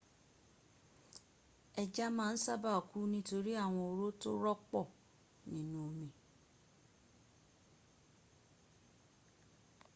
eja maa n saba ku nitori awon oro to ropo ninu omi